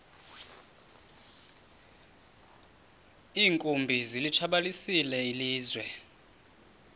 iinkumbi zilitshabalalisile ilizwe